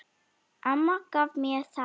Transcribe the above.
Amma gaf mér þær.